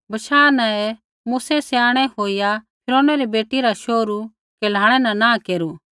बशाह न ही मूसै स्याणै होईया फिरौनै री बेटी रा शोहरू कहलाणै न नाँह केरू